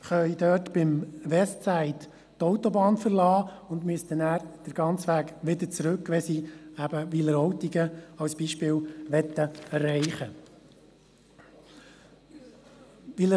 Dort können sie beim Westside die Autobahn verlassen und müssten dann den ganzen Weg wieder zurückfahren, wenn sie eben beispielsweise Wileroltigen erreichen möchten.